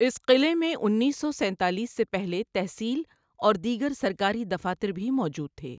اس قلعے میں انیس سو سینتالیس سے پہلے تحصیل اور دیگر سرکاری دفاتر بھی موجود تھے۔